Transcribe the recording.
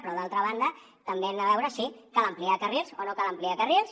però d’altra banda també hem de veure si cal ampliar carrils o no cal ampliar carrils